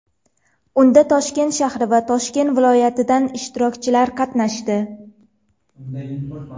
Unda Toshkent shahri va Toshkent viloyatidan ishtirokchilar qatnashdi.